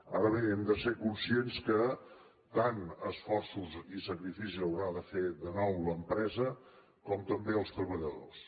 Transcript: ara bé hem de ser conscients que tants esforços i sacrificis haurà de fer de nou l’empresa com també els treballadors